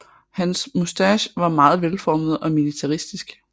Hans moustache var meget velformet og militaristisk